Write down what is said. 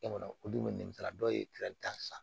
E kɔni o dun bɛ nɛgɛ dɔw ye tan san